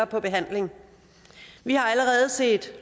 på behandling vi har allerede set